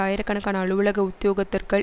ஆயிரக்கணக்கான அலுவலக உத்தியோகத்தர்கள்